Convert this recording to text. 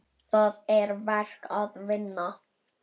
Það er verk að vinna.